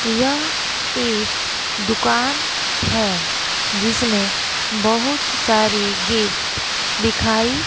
यह एक दुकान है जिसमें बहुत सारे गिफ्ट दिखाई--